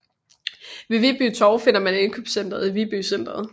Ved Viby Torv finder man indkøbscentret Viby Centret